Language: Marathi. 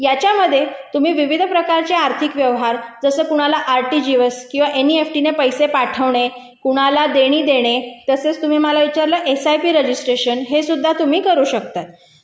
याच्यामध्ये तुम्ही विविध प्रकारचे आर्थिक व्यवहार जसं कोणाला आरटीजीएस किंवा एम इ एफ टी ने पैसे पाठवणे कुणाला देणे देणे असेच तुम्ही मला विचारलं एस आय पी रजिस्ट्रेशन हे सुद्धा तुम्ही करू शकता